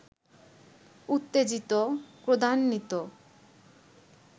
উত্তেজিত, ক্রোধান্বিত